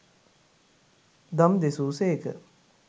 දම් දෙසූ සේක.